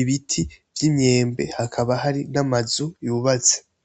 ibiti vy'imyembe hakaba hari n'amazu yubatse.